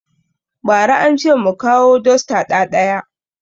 Ba ra ance mu kawo dosta ɗaɗaya